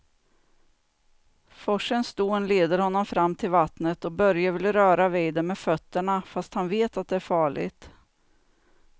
Forsens dån leder honom fram till vattnet och Börje vill röra vid det med fötterna, fast han vet att det är farligt.